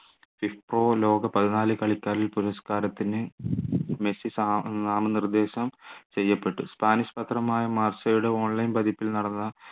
ഇപ്പോ ലോക പതിനാല് കളിക്കാരിൽ പുരസ്കാരത്തിന് മെസ്സി നാമ നിർദേശം ചെയ്യപ്പെട്ടു സ്പാനിഷ് പത്രമായ മാർഷയുടെ online പതിപ്പിൽ നടന്ന